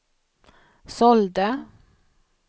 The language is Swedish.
sålde